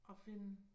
Og finde